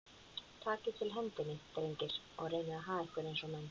Takið til hendinni, drengir, og reynið að haga ykkur eins og menn.